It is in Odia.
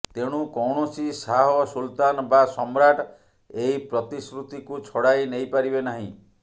ତେଣୁ କୌଣସି ଶାହ ସୁଲତାନ ବା ସମ୍ରାଟ ଏହି ପ୍ରତିଶ୍ରୁତିକୁ ଛଡ଼ାଇ ନେଇପାରିବେ ନାହିଁ